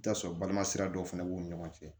I bi t'a sɔrɔ balima sira dɔw fana b'u ni ɲɔgɔn cɛ